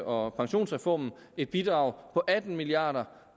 og pensionsreformen et bidrag på atten milliard